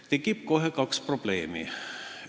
Kohe tekib kaks probleemi.